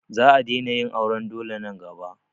Za a daina yin auran dole nan gaba.